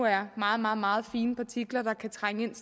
er meget meget meget fine partikler der kan trænge ind